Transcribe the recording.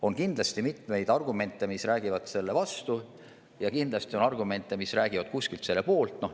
On kindlasti mitmeid argumente, mis räägivad selle vastu, ja kindlasti on argumente, mis räägivad selle poolt.